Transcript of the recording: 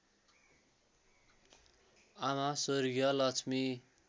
आमा स्वर्गीय लक्ष्मी